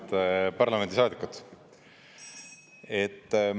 Head parlamendisaadikud!